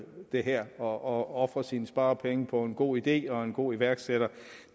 det her og ofre sine sparepenge på en god idé og en god iværksætter